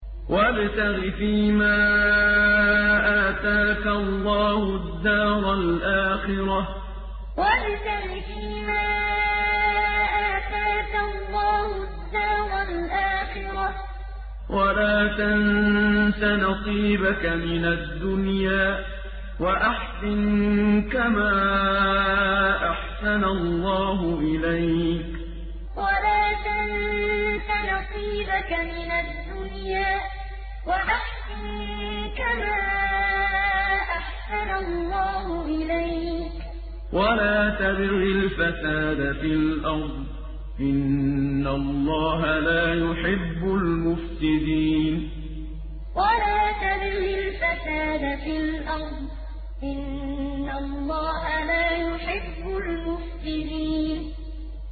وَابْتَغِ فِيمَا آتَاكَ اللَّهُ الدَّارَ الْآخِرَةَ ۖ وَلَا تَنسَ نَصِيبَكَ مِنَ الدُّنْيَا ۖ وَأَحْسِن كَمَا أَحْسَنَ اللَّهُ إِلَيْكَ ۖ وَلَا تَبْغِ الْفَسَادَ فِي الْأَرْضِ ۖ إِنَّ اللَّهَ لَا يُحِبُّ الْمُفْسِدِينَ وَابْتَغِ فِيمَا آتَاكَ اللَّهُ الدَّارَ الْآخِرَةَ ۖ وَلَا تَنسَ نَصِيبَكَ مِنَ الدُّنْيَا ۖ وَأَحْسِن كَمَا أَحْسَنَ اللَّهُ إِلَيْكَ ۖ وَلَا تَبْغِ الْفَسَادَ فِي الْأَرْضِ ۖ إِنَّ اللَّهَ لَا يُحِبُّ الْمُفْسِدِينَ